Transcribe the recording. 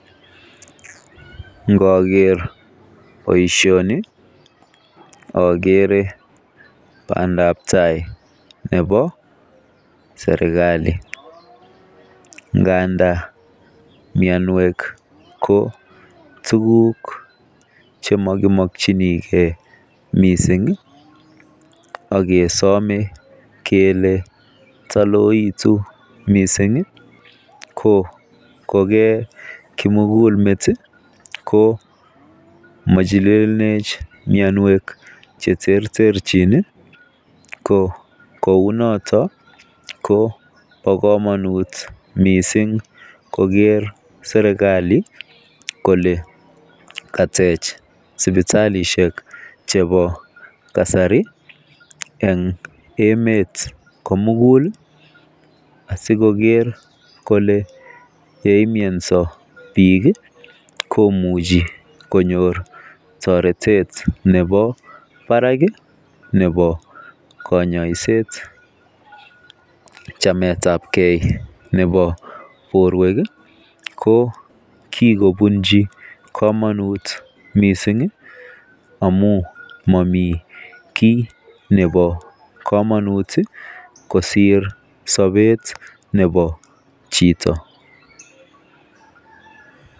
Ngoker boishoni okere pandap tai nebo sirkali ngandan mionwek ko tukuk chemokimokiniigee missingi ak kesome kele toloekitun missingi koke kimugululmet tii mochililech mionwek cheterterchin nii ko kou noton ko bo komonut missing koker serkali kole katech sipitalishek chebo kasari en emet komugul asikoker kole yeyumionso bik komuchi konyor toretet nebo barak kii nebo konyoiset chametagee nebo borwek kii ko kokobunchi komonut missingi amun momii kii nebo komonut tii kosir sobet nebo chito.